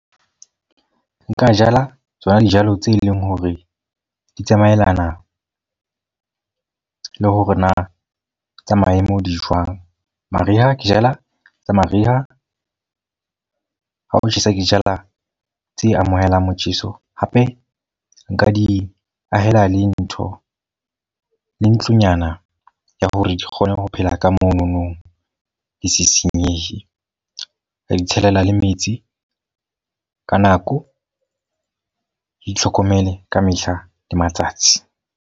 Nka jala tsona dijalo tse leng hore di tsamaellana le hore na tsa maemo di jwang. Mariha, ke jala tsa mariha. Ha o tjhesa, ke jala tse amohelang motjheso. Hape nka di ahela le ntho le ntlonyana ya hore di kgone ho phela ka monono, di se senyehe. Ka di tshelela le metsi ka nako. Itlhokomele ka mehla le matsatsi.